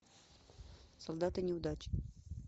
солдаты неудачи